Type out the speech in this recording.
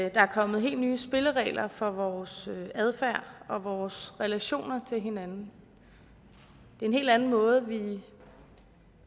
at der er kommet helt nye spilleregler for vores adfærd og vores relationer til hinanden det er en helt anden måde vi